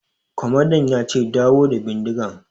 Kwamandan ya ce 'Dawo da bindigan'!